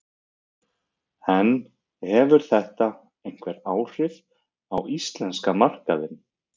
En hefur þetta einhver áhrif á íslenska markaðinn?